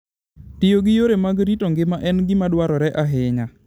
Tiyo gi yore mag rito ngima en gima dwarore ahinya